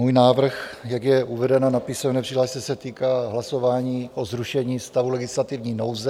Můj návrh, jak je uvedeno na písemné přihlášce, se týká hlasování o zrušení stavu legislativní nouze.